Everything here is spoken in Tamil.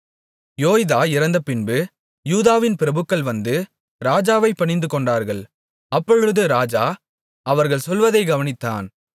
யோய்தா இறந்தபின்பு யூதாவின் பிரபுக்கள் வந்து ராஜாவைப் பணிந்துகொண்டார்கள் அப்பொழுது ராஜா அவர்கள் சொல்வதைக் கவனித்தான்